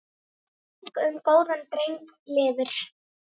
Minning um góðan dreng lifir.